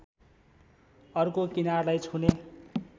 अर्को किनारलाई छुने